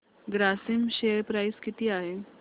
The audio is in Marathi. ग्रासिम शेअर प्राइस किती आहे